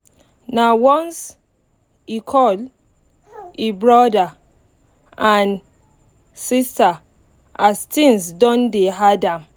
um nah once e call e brother and um sister as things don dey hard am